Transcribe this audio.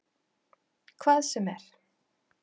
Hvað sem er?